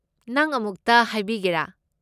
ꯅꯪ ꯑꯃꯨꯛꯇ ꯍꯥꯏꯕꯤꯒꯦꯔꯥ?